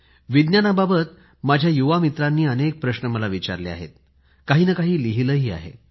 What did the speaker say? विज्ञानाबाबत माझ्या युवा मित्रांनी अनेक प्रश्न मला विचारले आहेत काही ना काही लिहिले आहे